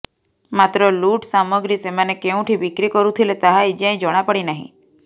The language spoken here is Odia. ମାତ୍ର ଲୁଟ୍ ସାମଗ୍ରୀ ସେମାନେ କେଉଁଠି ବିକ୍ରି କରୁଥିଲେ ତାହା ଏଯାଏ ଜଣାପଡ଼ି ନାହିଁ